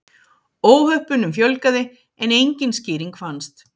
Óhöppunum fjölgaði en engin skýring fannst.